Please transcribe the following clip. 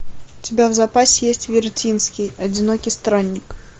у тебя в запасе есть вертинский одинокий странник